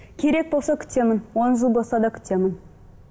керек болса күтемін он жыл болса да күтемін